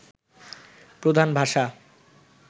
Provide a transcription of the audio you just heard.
প্রধান ভাষা